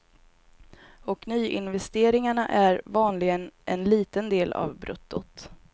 Och nyinvesteringarna är vanligen en liten del av bruttot.